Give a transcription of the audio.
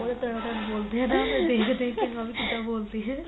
ਉਹ ਤਾਂ ਤਨਾ ਤਨ ਬੋਲਦੇ ਏ ਕਿੱਦਾ ਬੋਲਦੇ ਏ